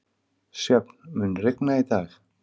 Sjöfn, mun rigna í dag?